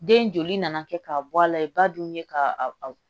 Den joli nana kɛ k'a bɔ a la i ba dun ye ka